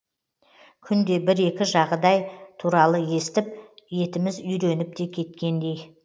күнде бір екі жағыдай туралы естіп етіміз үйреніп те кеткендей